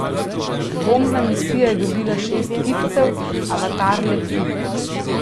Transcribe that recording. Bombna misija je dobila šest kipcev, Avatar le tri.